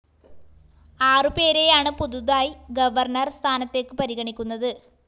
ആറു പേരെയാണ് പുതുതായി ഗവർണർ സ്ഥാനത്തേക്ക് പരിഗണിക്കുന്നത്